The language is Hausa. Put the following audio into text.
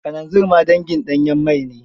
Kananzir ma dangin ɗanyen mai ne.